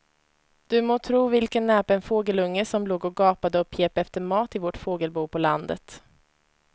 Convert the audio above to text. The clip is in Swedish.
Du må tro vilken näpen fågelunge som låg och gapade och pep efter mat i vårt fågelbo på landet.